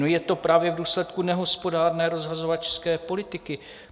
No, je to právě v důsledku nehospodárné, rozhazovačské politiky.